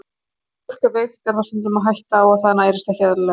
Þegar fólk er veikt er stundum hætta á að það nærist ekki eðlilega.